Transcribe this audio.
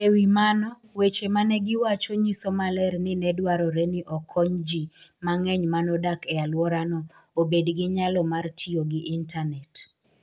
E wi mano, weche ma ne giwacho nyiso maler ni ne dwarore ni okony ji mang'eny ma nodak e alworano obed gi nyalo mar tiyo gi intanet.